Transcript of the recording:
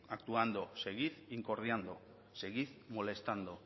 actuando seguir incordiando seguid molestando